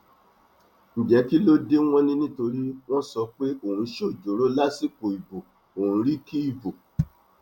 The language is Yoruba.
ǹjẹ kí ló dé wọn ni nítorí wọn sọ pé òun ṣojooro lásìkò ìbò òun rìkì ìbò